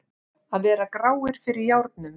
Að vera gráir fyrir járnum